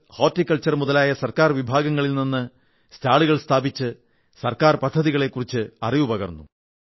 കൃഷി ഹോർട്ടിക്കൾചച്ർ മുതലായ ഗവൺമെന്റ് വിഭാഗങ്ങളിൽ നിന്ന് സ്റ്റാളുകൾ സ്ഥാപിച്ച് ഗവൺമെന്റ് പദ്ധതികളെക്കുറിച്ച് അറിവ് പകർന്നു